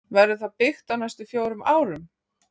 Verður það byggt á næstum fjórum árum?